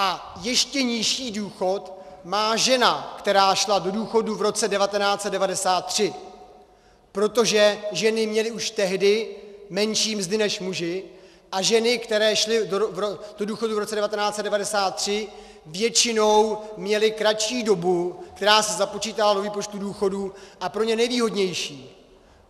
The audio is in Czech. A ještě nižší důchod má žena, která šla do důchodu v roce 1993, protože ženy měly už tehdy menší mzdy než muži, a ženy, které šly do důchodu v roce 1993, většinou měly kratší dobu, která se započítala do výpočtu důchodu, a pro ně nevýhodnější.